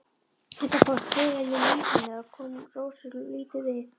Þetta fólk tilheyrði lífi hennar en kom Rósu lítið við.